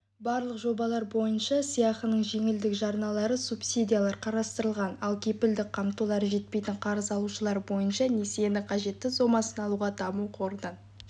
барлық жобалар бойынша сыйақының жеңілдік жарналары субсидиялар қарастырылған ал кепілдік қамтулары жетпейтін қарыз алушылар бойынша несиенің қажетті сомасын алуға даму қорынан